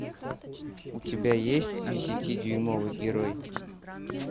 у тебя есть десятидюймовый герой